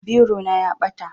Biro na ya ɓata